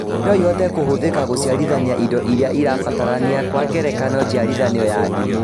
Noĩhote kũhũthĩka gũciarithania indo iria ĩrabatarania Kwa ngerekano njiarithanio ya ndimũ